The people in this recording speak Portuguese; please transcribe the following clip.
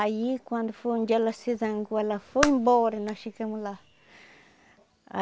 Aí quando foi um dia ela se zangou, ela foi embora e nós ficamos lá.